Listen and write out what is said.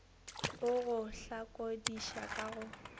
a go hlakodiša ka go